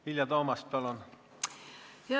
Vilja Toomast, palun!